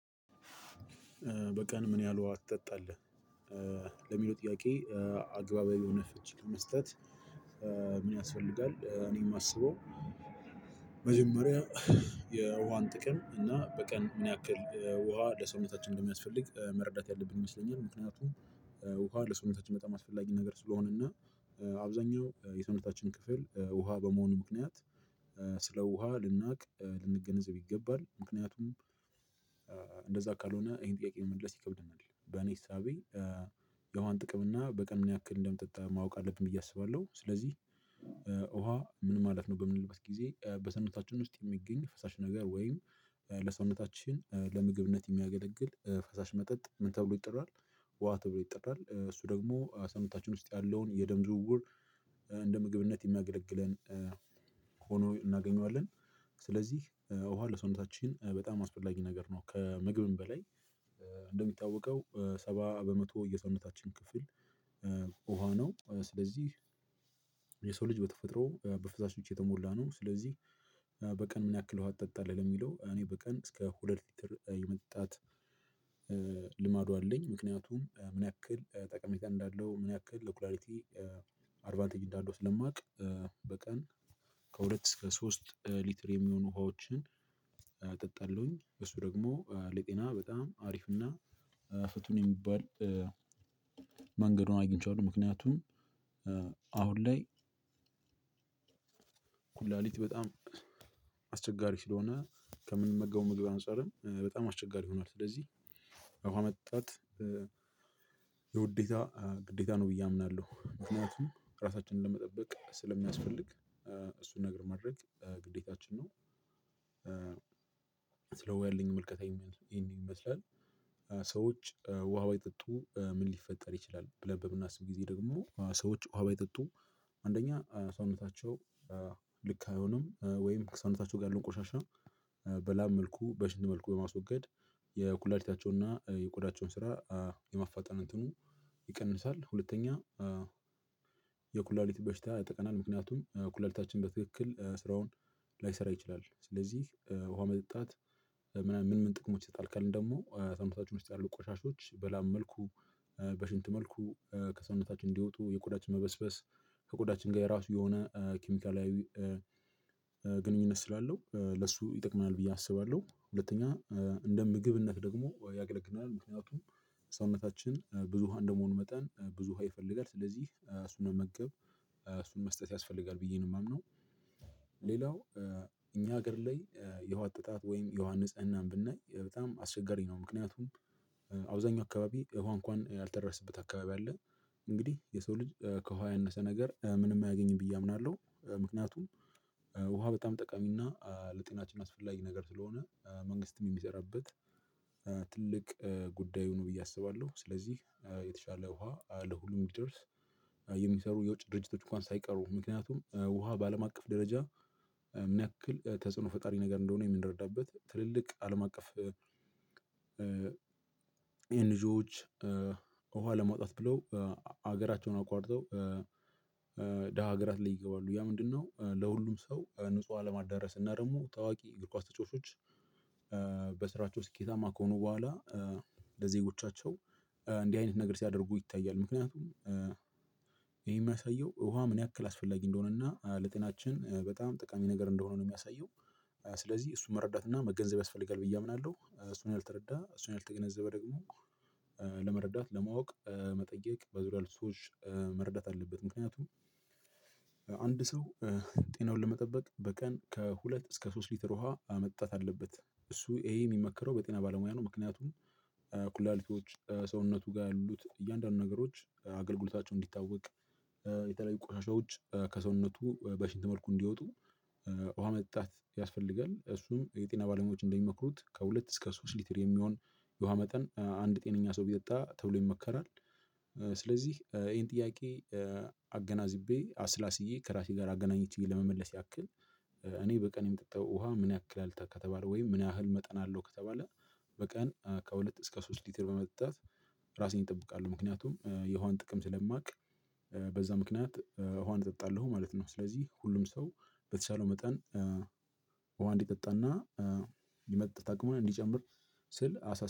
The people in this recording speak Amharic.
በቀን ምን ያህል ውሃ ትጠጣለህ? ለሚለው ጥያቄ አግባብ የሆነ ፍች መስጠት። ምን ያስፈልጋል እኔ የማስበው መጀመሪያ የውሃን ጥቅም እና በቀን ምን ያክል ውሃ ለሰውነታችን እንደሚያስፈልግ መረዳት ያለብን ይመስለኛል። ምክንያቱም ውሃ ለሰውነታችን በጣም አስፈላጊ ነገር ስለሆነ እና አብዛኛው የሰውነታችን ክፍል ውሃ በመሆኑ ምክንያት ስለ ውሃ ልናውቅ ልንገነዘብ ይገባል ምክንያቱም እንደዛ ካልሆነ ይሄን ጥያቄ መመለስ ይከብድናል። በኔ ሳቤ የውሃን ጥቅም እና በቀን ምን ያክል እንደምጠጣ ማወቅ አለብን ብዬ አስባለሁ። ስለዚህ ውሃ ምን ማለት ነው በምንልበት ጊዜ በሰውነታችን ውስጥ የሚገኝ ፈሳሽ ነገር ወይም ለሰውነታችን ለምግብነት የሚያገለግል ፈሳሽ መጠጥ ምን ተብሎ ይጠራል? ውሃ ተብሎ ይጠራል። እሱ ደግሞ ሰውነታችን ውስጥ ያለውን የደም ዝውውር እንደ ምግብነት የሚያገለግለን ሆኖ እናገኘዋለን። ስለዚህ ውሃ ለሰውነታችን በጣም አስፈላጊ ነገር ነው። ከምግብም በላይ እንደሚጣወቀው ሰባ በመቶ የሰውነታችን ክፍል ውሃ ነው። ስለዚህ የሰው ልጅ በተፈጥሮ በፍሳሾች የተሞላ ነው። ስለዚህ በቀን ምን ያክለው ውሃ ትጠጣለህ የሚለው እኔ በቀን እስከ ሁለት ሊትር የመጣት ልማዱ አለኝ። ምክንያቱም ምን ያክል ጠቀሜታ እንዳለው ምን ያክል ለኩላሊት አድቫንቴጅ እንዳለው ስለማውቅ። በቀን ከሁለት እስከ ሶስት ሊትር የሚሆኑ ውሃዎችን ጠጣለሁኝ እሱ ደግሞ ለጤና በጣም አሪፍ እና ፍቱን የሚባል መንገዱን አግኝቼዋለሁ። ምክንያቱም አሁን ላይ ኩላሊት በጣም አስቸጋሪ ስለሆነ ከምንመገበው ምግብ አንፃርም በጣም አስቸጋሪ ይሆናል። ስለዚህ ውሃ መጠጣት የውዴታ ግዴታ ነው ብዬ አምናለሁ። ምክንያቱም ራሳችንን ለመጠበቅ ስለሚያስፈልግ እሱን ነገር ማድረግ ግዴታችን ነው። ስለ ውሃ ያለኝ ምልከታ ይሄንን ይመስላል። ሰዎች ውሃ ባይጠጡ ምን ሊፈጠር ይችላል ብለን በምናስብ ጊዜ ደግሞ ሰዎች ውሃ ባይጠጡም አንደኛ ሰውነታቸው ልክ አይሆንም ወይም ከሰውነታቸው ጋር ያለውን ቆሻሻ በላብ መልኩ በሽንት መልኩ በማስወገድ የኩላሊታቸውንና የቆዳቸውን ስራ የማፋጠን እንትኑ ይቀንሳል። ሁለተኛ የኩላሊት በሽታ ያጠቃናል። ምክንያቱም ኩላሊታችን በትክክል ስራውን ላይሰራ ይችላል። ስለዚህ ውሃ መጠጣት ምናምን ምን ምን ጥቅሞች ይሰጣል። ካልን ደግሞ ሰውነታችን ውስጥ ያሉ ቆሻሻዎች በላብ መልኩ በሽንት መልኩ ከሰውነታችን እንዲወጡ የቁዳችን መበስበስ ከቆዳችን ጋር የራሱ የሆነ ኬሚካላዊ ግንኙነት ስላለው ለሱ ይጠቅመናል ብዬ አስባለሁ። ሁለተኛ እንደ ምግብነት ደግሞ ያገለግላል ምክንያቱም ሰውነታችን ብዙ ውሃ እንደመሆኑ መጠን ብዙ ውሃ ይፈልጋል። ስለዚህ እሱን መመገብ እሱን መስጠት ያስፈልጋል ብዬ ነው የማምነው። ሌላው እኛ ሀገር ላይ የውሃ ጥራት ወይም የውሃ ንጽህናን ብናይ በጣም አስቸጋሪ ነው። ምክንያቱም አብዛኛው አካባቢ ውሃ እንኳን ያልተደረሰበት አካባቢ አለ። እንግዲህ የሰው ልጅ ከውሃ ያነሰ ነገር ምንም አያገኝም ብዬ አምናለሁ። ምክንያቱም ውሃ በጣም ጠቃሚና ለጤናችን አስፈላጊ ነገር ስለሆነ መንግስትም የሚሰራበት ትልቅ ጉዳዩ ነው ብዬ አስባለሁ። ስለዚህ የተሻለ ውሃ ለሁሉም ይደርስ የሚሰሩ የውጭ ድርጅቶች እንኳን ሳይቀሩ ምክንያቱም ውሃ በአለም አቀፍ ደረጃ ምን ያክል ተጽዕኖ ፈጣሪ ነገር እንደሆነ የምንረዳበት ትልልቅ አለም አቀፍ ኤንጂዎች ውሃ ለማውጣት ብለው ሀገራቸውን አቋርጠው ደሃ ሀገራት ላይ ይገባሉ ያ ምንድነው? ለሁሉም ሰው ንጹህ አለማዳረስ እና ደግሞ ታዋቂ እግር ኳስ ተጫዋቾች በስራቸው ስኬታማ ከሆኑ በኋላ ለዜጎቻቸው እንዲህ አይነት ነገር ሲያደርጉ ይታያል። ምክንያቱም ይሄ የሚያሳየው ውሃ ምን ያክል አስፈላጊ እንደሆነና ለጤናችን በጣም ጠቃሚ ነገር እንደሆነ ነው የሚያሳየው። ስለዚህ እሱን መረዳት እና መገንዘብ ያስፈልጋል ብዬ አምናለሁ። እሱን ያልተረዳ እሱን ያልተገነዘበ ደግሞ ለመረዳት ለማወቅ መጠየቅ በዙሪያው ልጆች መረዳት አለበት። ምክንያቱም አንድ ሰው ጤናውን ለመጠበቅ በቀን ከሁለት እስከ ሶስት ሊትር ውሃ መጣት አለበት። እሱ ይሄ የሚመክረው በጤና ባለሙያ ነው። ምክንያቱም ኩላሊቲዎች ሰውነቱ ጋር ያሉት እያንዳንዱ ነገሮች አገልግሎታቸውን እንዲታወቅ የተለያዩ ቆሻሻዎች ከሰውነቱ በሽንት መልኩ እንዲወጡ ውሃ መጣች ያስፈልጋል። እሱም የጤና ባለሙያዎች እንደሚመክሩት ከሁለት እስከ ሶስት ሊትር የሚሆን የውሃ መጠን አንድ ጤነኛ ሰው ቢጠጣ ተብሎ ይመከራል። ስለዚህ ይሄን ጥያቄ አገናዝቤ አስላስዬ ከራሴ ጋር አገናኝቼ ለመመለስ ያክል እኔ በቀን የምጠጣው ውሃ ምን ያክል አልታ ከተባለ ወይም ምን ያህል መጠን አለው ከተባለ። በቀን ከሁለት እስከ ሶስት ሊትር በመጠጣት ራሴን ይጠብቃሉ ምክንያቱም የውሃን ጥቅም ስለማውቅ በዛ ምክንያት ውሃን እጠጣለሁ ማለት ነው። ስለዚህ ሁሉም ሰው በተሻለው መጠን። ውሃ እንዲጠጣና የመጠጣት አቅሙን እንዲጨምር ስል አሳ